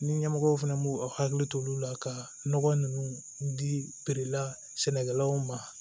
Ni ɲɛmɔgɔw fɛnɛ b'u hakili to olu la ka nɔgɔ ninnu dila sɛnɛkɛlaw ma